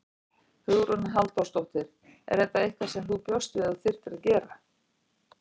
Hugrún Halldórsdóttir: Er þetta eitthvað sem þú bjóst við að þú þyrftir að gera?